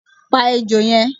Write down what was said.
Pa ejò yen